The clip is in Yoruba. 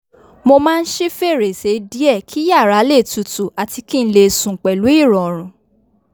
mo máa n ṣí fèrèsé diẹ kí yàrá lè tutù àti kinle sùn pẹlu ìròrùn